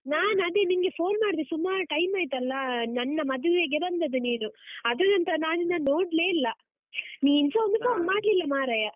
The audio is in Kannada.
ನಾನದೇ ನಿಂಗೆ phone ಮಾಡ್ದೆ ಸುಮಾರ್ time ಆಯ್ತಲ್ಲ, ನನ್ನ ಮದುವೆಗೆ ಬಂದದ್ದು ನೀನು. ಅದ್ರ ನಂತರ ನಾನ್ ನಿನ್ನನ್ನು ನೋಡ್ಲೇ ಇಲ್ಲ, ನೀನ್ಸಾ ಒಂದು ಮಾಡ್ಲಿಲ್ಲ ಮಾರಾಯ.